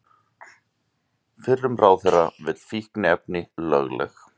Fyrrum ráðherra vill fíkniefni lögleg